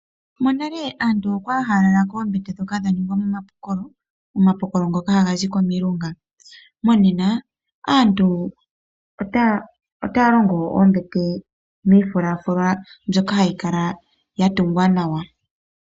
Monale aantu okwali ha lala koombete ndhoka dha ningwa momapokolo, omapokolo ngoka hazi komilunga. Monena aantu otaya longo oombete dhiifulafula mbyoka hayi kala ya tungwa nawa.